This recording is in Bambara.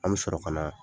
An bɛ sɔrɔ ka na